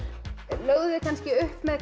lögðuð þið kannski upp með